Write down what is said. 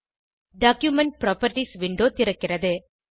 document properties window திறக்கிறது